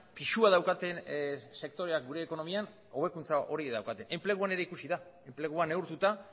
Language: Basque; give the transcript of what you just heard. pisua daukaten sektoreak gure ekonomian hobekuntza hori daukate enpleguan ere ikusi da enplegua neurtuta